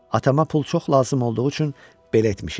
Atama pul çox lazım olduğu üçün belə etmişik.